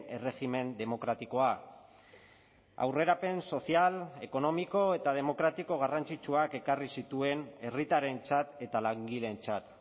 erregimen demokratikoa aurrerapen sozial ekonomiko eta demokratiko garrantzitsuak ekarri zituen herritarrentzat eta langileentzat